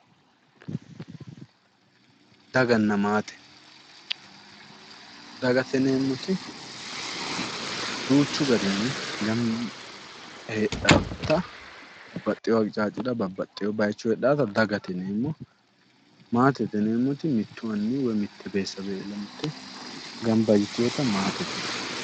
daganna maate dagate yineemmoti duuchu garinni gamba yite heedhaawota baxxeewo aqixaaccira babbaxewo baychira heedhaawota dagate yineemmo maatete yineemmoti mittu anni woy beetesawe gamba yiteewota maatete yineemmo.